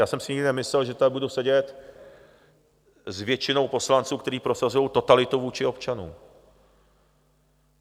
Já jsem si nikdy nemyslel, že tady budu sedět s většinou poslanců, kteří prosazujou totalitu vůči občanům.